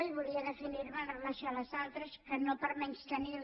i volia definir me amb relació a les altres que no per menystenir les